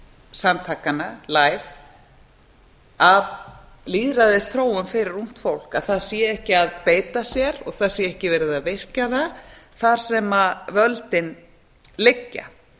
samtakanna læf af lýðræðisþróun fyrir ungt fólk að það sé ekki að beita sér og það sé ekki verið að virkja það þar sem völdin liggja